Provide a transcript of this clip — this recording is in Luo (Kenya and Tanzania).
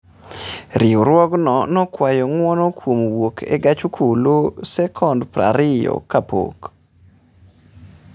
Riwruogno nokwayo ng'uono kuom wuok e gach okolo sekon 20 kapok